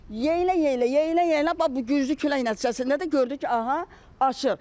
Yeyilə-yeyilə, yeyilə-yeyilə bax bu güclü külək nəticəsində də gördük ki, aha, aşır.